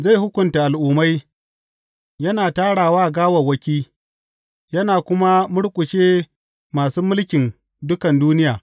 Zai hukunta al’ummai, yana tarawa gawawwaki yana kuma murƙushe masu mulkin dukan duniya.